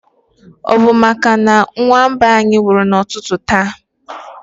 Ọ bu màkà na nwa mba anyị nwụrụ na ụtụtụ taa